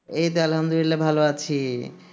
এই তো আল্ল্হামদুল্লিয়া ভালো আছি